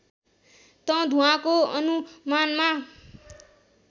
त धुवाँको अनुमानमा